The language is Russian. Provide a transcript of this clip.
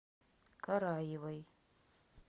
караевой